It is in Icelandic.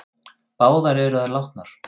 Báðar eru þær látnar.